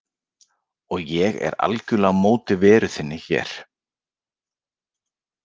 Og ég er algerlega á móti veru þinni hér.